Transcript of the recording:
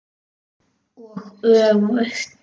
Og öfugt.